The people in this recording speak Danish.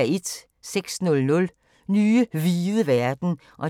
06:00: Nye hvide verden (1:8)